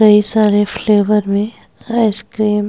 कई सारे फ्लेवर में आइस-क्रीम --